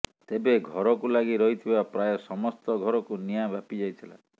ତେବେ ଘରକୁ ଲାଗି ରହିଥିବା ପ୍ରାୟ ସମସ୍ତ ଘରକୁ ନିଆଁ ବ୍ୟାପିଯାଇଥିଲା